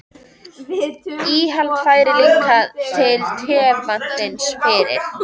Íhaldið fær líka til tevatnsins fyrir